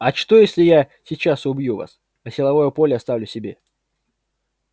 а что если я сейчас убью вас а силовое поле оставлю себе